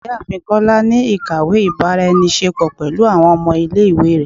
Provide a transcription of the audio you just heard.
Ìyáàfín kola ni ikáwe ibara-enise-po pẹlu awọn ọmọ ile-iwe rẹ